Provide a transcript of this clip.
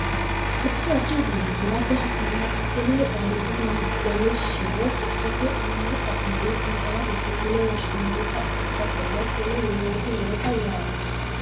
Addi addi uduunne usurate hattono babbaxxinore xaadisate horonsi'nanni shiwo su'mase ammaru afiinni sansalatete yine woshshinannita ikkasenna hattono woloottu noota yaate